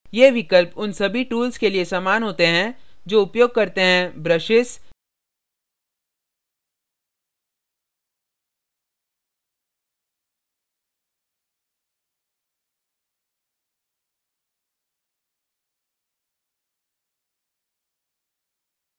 ये विकल्प उन सभी tools के लिए समान होते हैं जो उपयोग करते हैं brushes